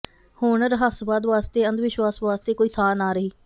ਹੁਣ ਰਹੱਸਵਾਦ ਵਾਸਤੇ ਅੰਧਵਿਸ਼ਵਾਸ ਵਾਸਤੇ ਕੋਈ ਥਾਂ ਨਾ ਰਹੀ